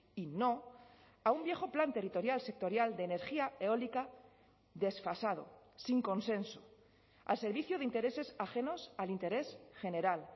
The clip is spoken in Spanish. y no a un viejo plan territorial sectorial de energía eólica desfasado sin consenso al servicio de intereses ajenos al interés general